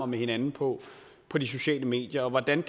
med hinanden på på de sociale medier hvordan